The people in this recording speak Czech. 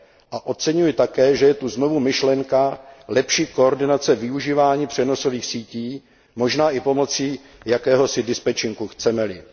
A oceňuji také, že je tu znovu myšlenka lepší koordinace využívání přenosových sítí, možná i pomocí jakéhosi dispečinku, chceme li.